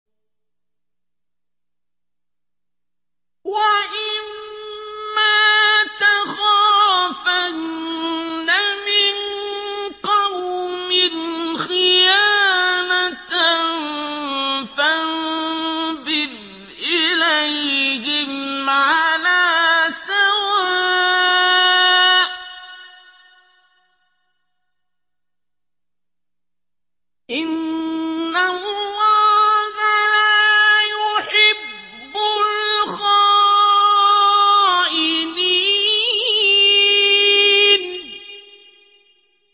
وَإِمَّا تَخَافَنَّ مِن قَوْمٍ خِيَانَةً فَانبِذْ إِلَيْهِمْ عَلَىٰ سَوَاءٍ ۚ إِنَّ اللَّهَ لَا يُحِبُّ الْخَائِنِينَ